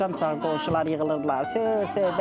Axşamçağı qonşular yığılırdılar, söhbət-söhbət.